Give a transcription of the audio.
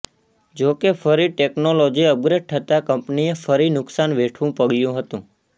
જોકે ફરી technology upgrade થતા કંપનીએ ફરી નુકશાન વેઠવું પડ્યું હતું